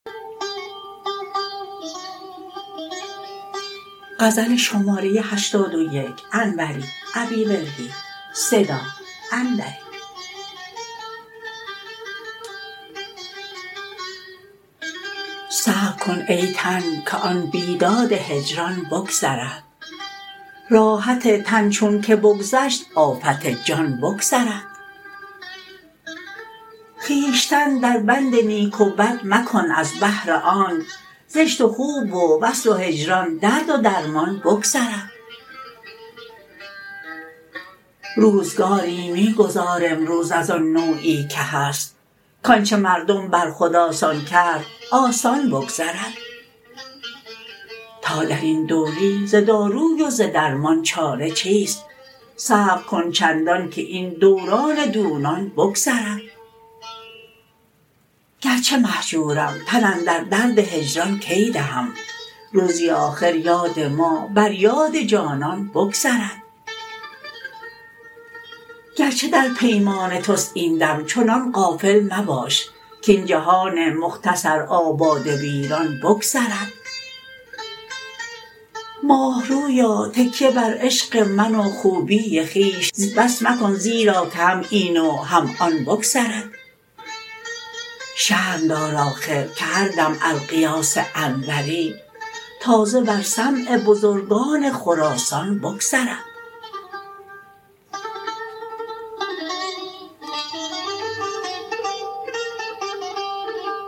صبر کن ای تن که آن بیداد هجران بگذرد راحت تن چون که بگذشت آفت جان بگذرد خویشتن در بند نیک و بد مکن از بهر آنک زشت و خوب و وصل و هجران درد و درمان بگذرد روزگاری می گذار امروز از آن نوعی که هست کانچه مردم بر خود آسان کرد آسان بگذرد تا در این دوری ز داروی و ز درمان چاره چیست صبر کن چندان که این دوران دونان بگذرد گرچه مهجورم تن اندر درد هجران کی دهم روزی آخر یاد ما بر یاد جانان بگذرد گرچه در پیمان تست این دم چنان غافل مباش کین جهان مختصرآباد ویران بگذرد ماه رویا تکیه بر عشق من و خوبی خویش بس مکن زیرا که هم این و هم آن بگذرد شرم دار آخر که هردم الغیاث انوری تازه بر سمع بزرگان خراسان بگذرد